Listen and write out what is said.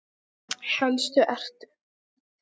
Helstu eru